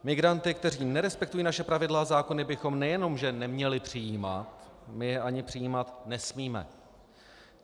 Migranty, kteří nerespektují naše pravidla a zákony, bychom nejenom že neměli přijímat, my je ani přijímat nesmíme.